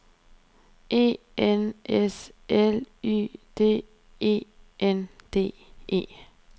E N S L Y D E N D E